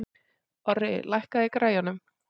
Orri, lækkaðu í græjunum.